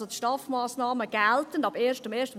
Die STAF-Massnahmen gelten also ab 01.01.2020.